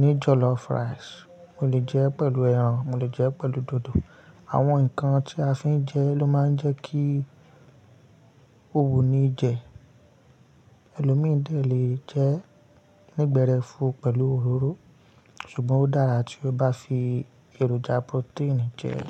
ní jọ̀lọ́fù ràìsì, mo lè jẹ ẹ́ pẹ̀lú ẹran, mo lè jẹ ẹ́ pẹ̀lú dòdò. Àwọn nǹkan tí a fi ń jẹ ló máa ń jẹ́ kí ó wuni jẹ. Ẹlòmíìdà lè jẹ ẹ́ nígbẹ̀rẹ̀ fún pẹ̀lú òróró, ṣùgbọ́n ó dára tí ó bá fi èròjà protein jẹ ẹ́.